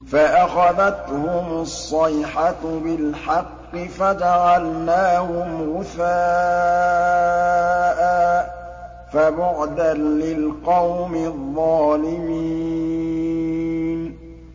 فَأَخَذَتْهُمُ الصَّيْحَةُ بِالْحَقِّ فَجَعَلْنَاهُمْ غُثَاءً ۚ فَبُعْدًا لِّلْقَوْمِ الظَّالِمِينَ